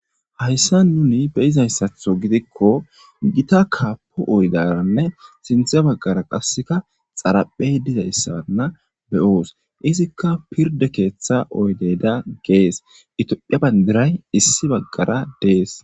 Hayssa nuni beyizayssatho gidikko gita kaapo oydaranne sinthe baggara qasseka xaraphey dizayssanna beyoos izikka pirde keeththa oydeda gees itiophiya bandiray issi baggara dees